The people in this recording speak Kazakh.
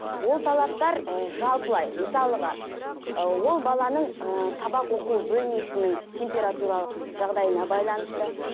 ол талаптар ы жалпылай мысалыға ы ол баланың ііі сабақ оқу бөлмесінің температуралық жағдайына байланысты